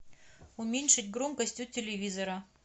уменьшить громкость у телевизора